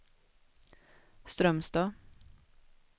Strömstad